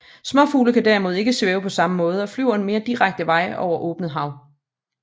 Småfugle kan derimod ikke svæve på samme måde og flyver en mere direkte vej over åbent hav